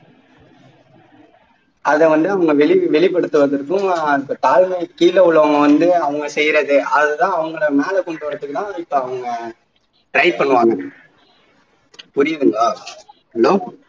அதை வந்து அவங்கவெளி வெளிபடுத்துவதற்கும் அந்த தாழ்மைக்கு கீழ உள்ளவங்க வந்து அவங்க செய்யுறது அது தான் அவங்களை மேல கொண்டுவர்றதுக்கு தான் இப்போ அவங்க try பண்ணுவாங்க புரியுதுங்களா hello